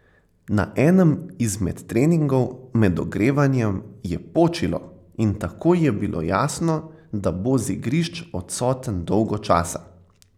Na enem izmed treningov, med ogrevanjem, je počilo in takoj je bilo jasno, da bo z igrišč odsoten dolgo časa.